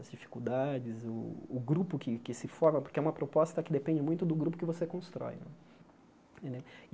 As dificuldades, o o grupo que que se forma, porque é uma proposta que depende muito do grupo que você constrói né.